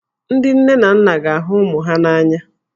Ndị nne na nna ga-ahụ ụmụ ha n'anya.